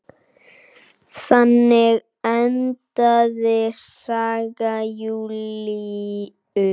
Þannig endaði saga Júlíu.